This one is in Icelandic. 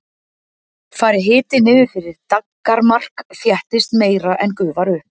fari hiti niður fyrir daggarmark þéttist meira en gufar upp